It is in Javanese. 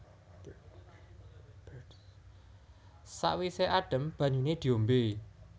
Sawise adem banyune diombe